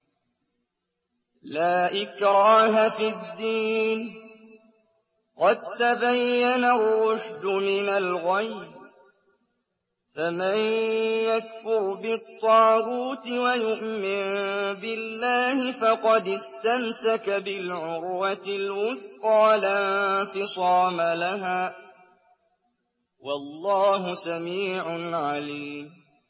لَا إِكْرَاهَ فِي الدِّينِ ۖ قَد تَّبَيَّنَ الرُّشْدُ مِنَ الْغَيِّ ۚ فَمَن يَكْفُرْ بِالطَّاغُوتِ وَيُؤْمِن بِاللَّهِ فَقَدِ اسْتَمْسَكَ بِالْعُرْوَةِ الْوُثْقَىٰ لَا انفِصَامَ لَهَا ۗ وَاللَّهُ سَمِيعٌ عَلِيمٌ